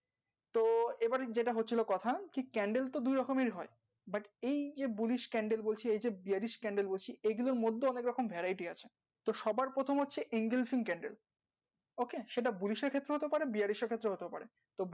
তো এবারে যেটা হচ্ছিলো কথা জি candle তো দুই রকমের হয় but এই যে bullish candle বলছি এই যে bearish candle বলছি এই গুলোর মধ্যে অনেক রকম variety আছে তো সবার প্রথম হচ্ছে সেটা bullish এর ক্ষেত্রে হতে পারে bearish এর ক্ষেত্রেও হতে পারে